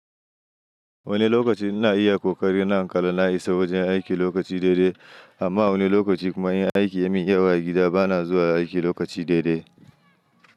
Wani lokaci ina iya ƙoƙari na in kalla na isa wajen aiki lokaci daidai, amma wani lokaci kuma in aiki ya min yawa a gida bana zuwa aiki lokaci daidai.